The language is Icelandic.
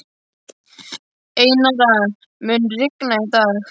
Einara, mun rigna í dag?